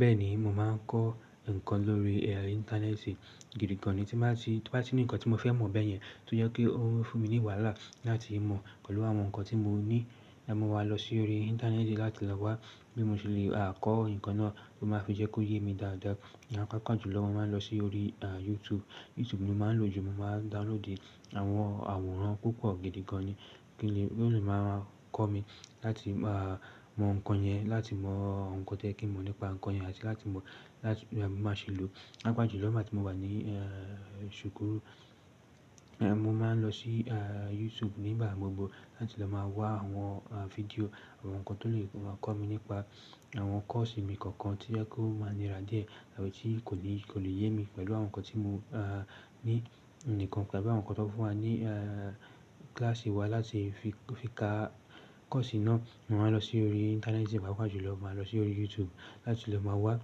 Bẹ́ẹ̀ni, mo máa ń kọ́ ǹkan lórí Íńtánẹ́ẹ̀tì. Gidi gan ni tí máa ti ní ǹkan tí mo fẹ́ mọ̀ bẹ́ẹ̀ yẹn, tó jẹ́ pé ó ń fún mi ní wàhálà láti mọ̀ pẹ̀lú àwọn ǹkan tí mo ní, mọ̀ wá lọ sí orí internet láti lọ wá bí mo ṣe le kọ́ ǹkan náà tó máa fi jẹ́ kó yé mi dáadáa. Ni apá kan jù lọ, mo máa ń lọ sí orí YouTube. YouTube ni mo máa ń lò jù. Mo máa ń download àwọn àwòrán púpọ̀ gidi gan ni kí ó le máa kọ́ mi láti máa mọ̀ ǹkan yẹn, láti mọ̀ ǹkan tó yẹ kín mọ̀ nípa ǹkan yẹn àti láti mọ̀ bí máa ṣe lò ó. Pàápàá jù lọ, nígbà tí mo wà ní ṣùkú, mo máa ń lọ sí YouTube nígbà gbogbo láti lọ máa wá àwọn fídíò, àwọn ǹkan tó lè máa kọ́ mi nípa àwọn kọ́ọ̀sì mi kankan tí ẹ ó máa nira díẹ̀ àbí tí kò lè yé mi pẹ̀lú àwọn ǹkan tí mo ní nìkan tàbí àwọn ǹkan tó fún wa ní kíláàsì wa láti fi ka kọ́ọ̀sì náà. Mi máa lo si orí Íńtánẹ́ẹ̀tì pàápàá ju ló má lo sórí YouTube láti lè má wà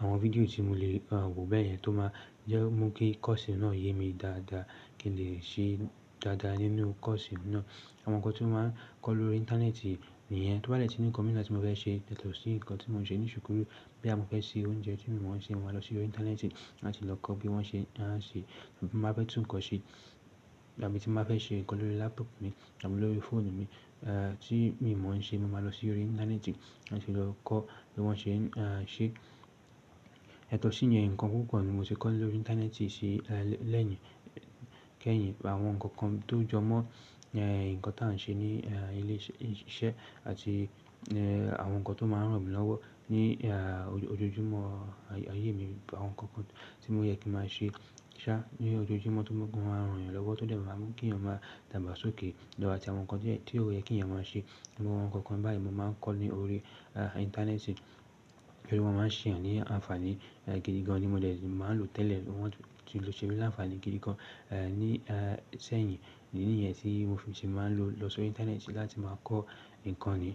àwon fídíò tí mo lè wo beyen to má je kí koosi na yé mi dáadáa kí ń lè se dáadáa nínú koosi náà. Àwọn ǹkan tí máa ń kọ́ lórí internet nìyẹn. Tó bá dé tí ní ǹkan mìí náà tí mo fẹ́ ṣe, yátọ sí ǹkan tí mò ń ṣe ní ṣùkú. Bóyá mọ́ fẹ́ ṣe oúnjẹ tí mi mọ̀ ṣe, mo máa lọ sí orí Íńtánẹ́ẹ̀tì láti lọ kọ́ bí wọ́n ṣe ń ṣe. Tí ń bá fé tún kan se tàbí tí m bá fé se nkan lórí laptop mi àbí lórí fóònù mi, tí mi mo se mi máa lo si orí Íńtánẹ́ẹ̀tì láti lo kò bí wón se ń se. Yato sí iyen, ǹkan púpọ̀ ni mo ti kọ́ lórí internet lẹ́yìn, kẹ́yìn. Àwọn ǹkan kan tó jọmọ́ ǹkan tí a ń ṣe ní ilé iṣẹ́ àti àwọn ǹkan tó máa ń ràn mí lọ́wọ́ ní ojoojúmọ́ ayé mi. Àwọn ǹkan kan tí mo yẹ kí máa ṣe ṣá ní ojoojúmọ́ tó máa ń ran ènìyàn lọ́wọ́ tó dé má máa ń mú kí èyàn máa dàgbà sókè lo àti àwọn ǹkan díè tí ó yẹ kí ẹ̀yàn máa ṣe. Àwọn ǹkan kan báyìí mo máa ń kọ́ ní orí Íńtánẹ́ẹ̀tì, torí wọ́n máa ń ṣe èyàn ní àǹfààní gidi gan ni mo dè máa lò tẹ́lẹ̀. Wọ́n ti ṣe mí láǹfààní gidi gan ní sẹ́yìn, ìdí nì yẹn tí mo fi ṣe máa ń lọ sí orí internet láti máa kọ́ ǹkan ni.